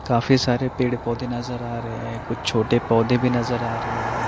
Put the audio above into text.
काफी सारे पेड़ पौधे नज़र आ रहे ए कुछ छोटे पौधे भी नज़र आ रहे हैं ।